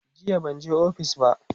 jiya banje ofis ba